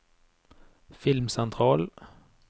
filmsentral